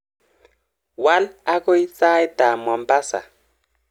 Wal akoi saitab Mombasa.